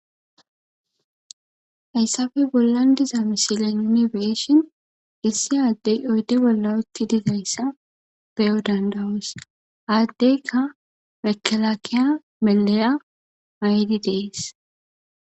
hayssafe bollan diza misilen nuni beeshin issi aaddey oyde bolla utti dizayssa beyo dandawoos aaddeyka mekelakiya meleya ayidi dees.